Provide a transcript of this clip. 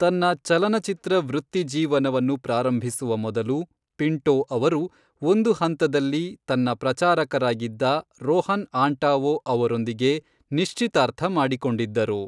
ತನ್ನ ಚಲನಚಿತ್ರ ವೃತ್ತಿಜೀವನವನ್ನು ಪ್ರಾರಂಭಿಸುವ ಮೊದಲು, ಪಿಂಟೋ ಅವರು ಒಂದು ಹಂತದಲ್ಲಿ ತನ್ನ ಪ್ರಚಾರಕರಾಗಿದ್ದ ರೋಹನ್ ಆಂಟಾವೊ ಅವರೊಂದಿಗೆ ನಿಶ್ಚಿತಾರ್ಥ ಮಾಡಿಕೊಂಡಿದ್ದರು.